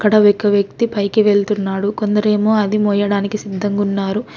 ఇక్కడ ఒక వ్యక్తి పైకి వెళ్తున్నాడు కొందరేమో అది మొయ్యడానికి సిద్ధంగున్నారు.